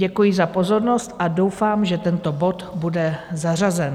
Děkuji za pozornost a doufám, že tento bod bude zařazen.